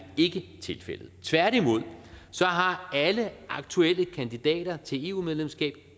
tilfældet tværtimod har alle aktuelle kandidater til eu medlemskab